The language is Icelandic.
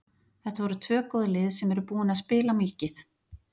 Þetta voru tvö góð lið sem eru búin að spila mikið.